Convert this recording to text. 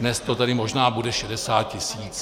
Dnes to tedy možná bude 60 tisíc.